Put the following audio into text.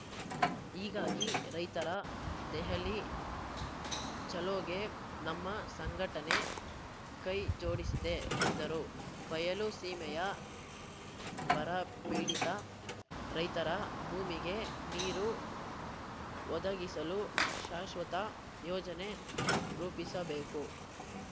ಹೀಗಾಗಿ ರೈತರ ದೆಹಲಿ ಚಲೋಗೆ ನಮ್ಮ ಸಂಘಟನೆ ಕೈಜೋಡಿಸಿದೆ ಎಂದರು ಬಯಲು ಸೀಮೆಯ ಬರಪೀಡಿತ ರೈತರ ಭೂಮಿಗೆ ನೀರು ಒದಗಿಸಲು ಶಾಶ್ವತ ಯೋಜನೆ ರೂಪಿಸಬೇಕು